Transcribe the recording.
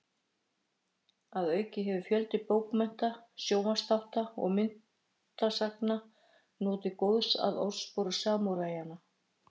Að auki hefur fjöldi bókmennta, sjónvarpsþátta og myndasagna notið góðs af orðspori samúræjanna.